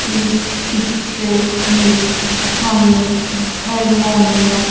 इस पिक्चर में हमें हारमोनियम --